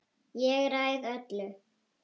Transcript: Ég ræð öllu.